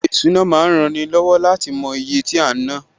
Ṣíṣe ìsúná ma ń rani lọ́wọ́ láti mo iye tí a ná